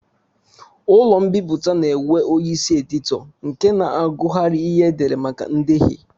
Ụlọ mbipụta na-enwe onyeisi editọ nke na-agụgharị ihe e dere maka ndehie